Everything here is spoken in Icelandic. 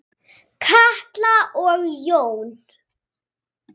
Katla og Jón.